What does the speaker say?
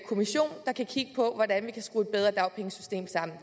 kommission der kan kigge på hvordan vi kan skrue et bedre dagpengesystem sammen